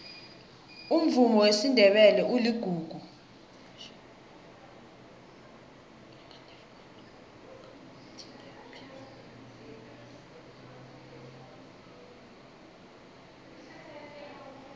umvumo wesindebele uligugu